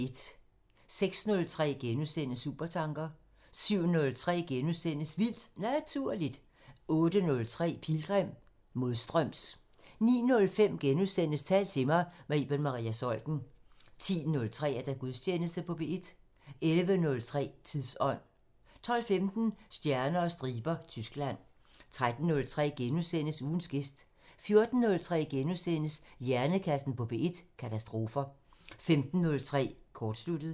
06:03: Supertanker * 07:03: Vildt Naturligt * 08:03: Pilgrim – Modstøms 09:05: Tal til mig – med Iben Maria Zeuthen * 10:03: Gudstjeneste på P1 11:03: Tidsånd 12:15: Stjerner og striber – Tyskland 13:03: Ugens gæst * 14:03: Hjernekassen på P1: Katastrofer * 15:03: Kortsluttet